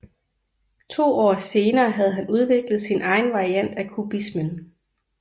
To år senere havde han udviklet sin egen variant af kubismen